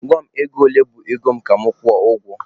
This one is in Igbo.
Gwa m ego ole bụ ego mụ ka mụ kwụọ ụgwọ!